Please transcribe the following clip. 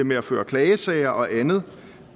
med at føre klagesager og andet